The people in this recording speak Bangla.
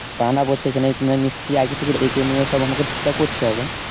তা না বলে সেখানে মানে মিস্ত্রী আগে থেকে ডেকে নিয়ে সব আমাকে ঠিক ঠাক করতে হবে